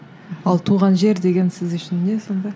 ал туған жер деген сіз үшін не сонда